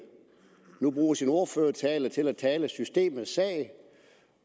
nu bruger sin ordførertale til at tale systemets sag